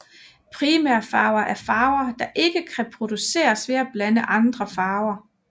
Primærfarver er farver der ikke kan produceres ved at blande andre farver